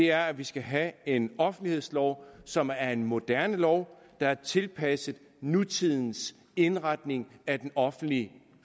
er at vi skal have en offentlighedslov som er en moderne lov der er tilpasset nutidens indretning af den offentlige